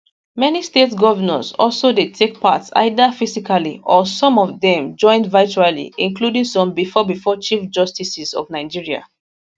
many state govnors also dey take part either physically or some of dem join virtually including some bifor bifor chief justices of nigeria